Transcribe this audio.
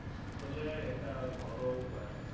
আসলে এটা ঘরোয়া উপায়